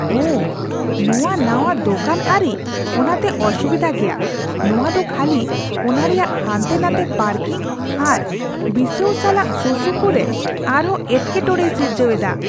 ᱳᱦ! ᱱᱚᱶᱟ ᱱᱟᱶᱟ ᱫᱳᱠᱟᱱ ᱟᱹᱨᱤ ᱚᱱᱟᱛᱮ ᱚᱥᱩᱵᱤᱫᱷᱟ ᱜᱮᱭᱟ ᱾ ᱱᱚᱶᱟ ᱫᱚ ᱠᱷᱟᱹᱞᱤ ᱚᱱᱟ ᱨᱮᱭᱟᱜ ᱦᱟᱱᱛᱮ ᱱᱟᱛᱮ ᱯᱟᱨᱠᱤᱝ ᱟᱨ ᱵᱤᱥᱟᱹᱣ ᱥᱟᱞᱟᱜ ᱥᱩᱨᱥᱩᱯᱩᱨ ᱨᱮ ᱟᱨ ᱦᱚᱸ ᱮᱴᱠᱮᱴᱚᱬᱮᱭ ᱥᱤᱨᱡᱟᱹᱣ ᱮᱫᱟ ᱾